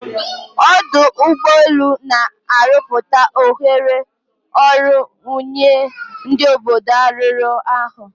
Ọdụ ụgbọ elu na-arọpụta ohere ọrụ nye ndi obodo arụrụ ha.